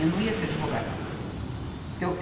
Eu não ia ser advogada. Porque eu